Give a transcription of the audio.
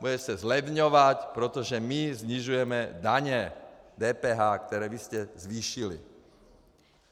Bude se zlevňovat, protože my snižujeme daně, DPH, které vy jste zvýšili!